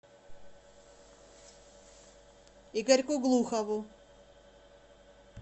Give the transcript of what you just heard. игорьку глухову